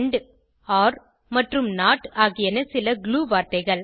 and or மற்றும் not ஆகியன சில glue வார்த்தைகள்